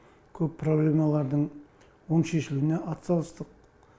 көп проблемалардың оң шешілуіне атсалыстық